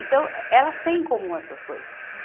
Então, elas têm em comum essas coisas.